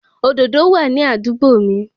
Òdòdó wà ní àdúgbò mi